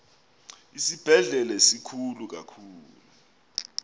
isibhedlele sikhulu kakhulu